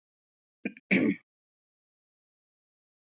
Þeir voru trúir leikstíl sínum og mér finnst það mjög mikilvægt.